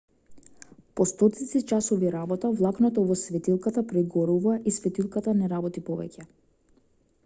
по стотици часови работа влакното во светилката прегорува и светилката не работи повеќе